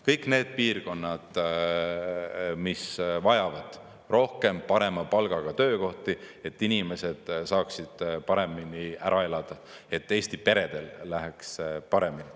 Kõik need piirkonnad vajavad rohkem parema palgaga töökohti, et inimesed saaksid paremini ära elada, et Eesti peredel läheks paremini.